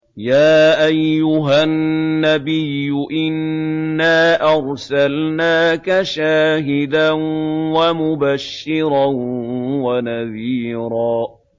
يَا أَيُّهَا النَّبِيُّ إِنَّا أَرْسَلْنَاكَ شَاهِدًا وَمُبَشِّرًا وَنَذِيرًا